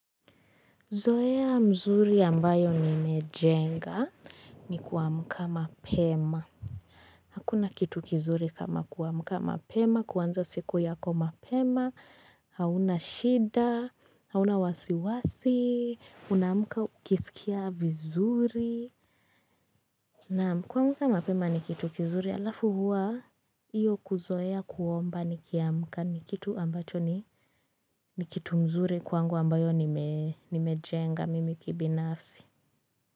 Zoea mzuri ambayo nimejenga ni kuamka mapema. Hakuna kitu kizuri kama kuamka mapema, kuanza siku yako mapema, hauna shida, hauna wasiwasi, unaamka ukisikia vizuri. Naam, kuamka mapema ni kitu kizuri alafu huwa iyo kuzoea kuomba nikiamka ni kitu ambacho ni. Ni kitu mzuri kwangu ambayo nimejenga mimi kibinafsi.